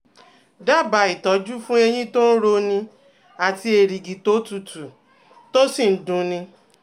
Dábàá ìtọ́jú fún eyín tó ń roni àti erìgì tó tutù, tó sì ń dun ni